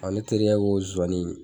ne terikɛ k'o zonsannin in.